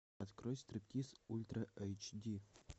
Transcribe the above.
открой стриптиз ультра эйч ди